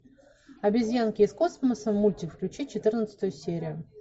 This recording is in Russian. обезьянки из космоса мультик включи четырнадцатую серию